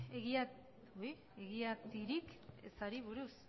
egiatiarik ezari buruz